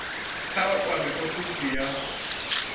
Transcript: kha vha kwame ofisi ya